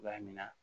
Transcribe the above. A mina